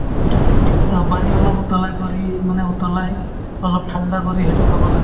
to পানী অলপ উতলাই কৰিয়ে মানে উতলাই অলপ ঠাণ্ডা কৰি সেইটো খাব লাগে